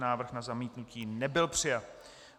Návrh na zamítnutí nebyl přijat.